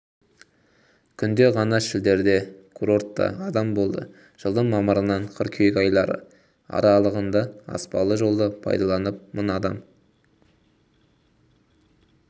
күнде ғана шілдеде курортта адам болды жылдың мамырынан қыркүйек айлары аралығындааспалы жолды пайдаланып мың адам